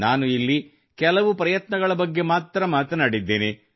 ನಾನು ಇಲ್ಲಿ ಕೆಲ ಪ್ರಯತ್ನಗಳ ಬಗ್ಗೆ ಮಾತ್ರ ಮಾತನಾಡಿದ್ದೇನೆ